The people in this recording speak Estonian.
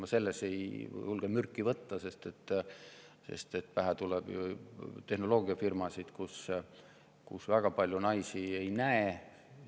Ma selle peale mürki ei julge võtta, sest pähe tuleb tehnoloogiafirmasid, kus väga palju naisi ei näe.